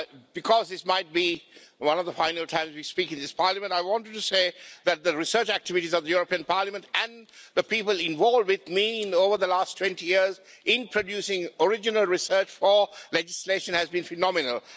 Because this might be one of the final times we speak in this Parliament, I wanted to say that the research activities of the European Parliament and the people involved with me over the last 20 years in producing original research for legislation have been phenomenal.